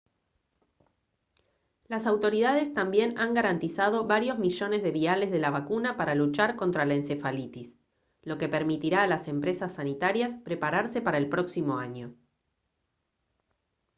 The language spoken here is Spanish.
las autoridades también han garantizado varios millones de viales de la vacuna para luchar contra la encefalitis lo que permitirá a las empresas sanitarias prepararse para el próximo año